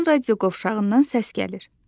Birdən radio qovşağından səs gəlir.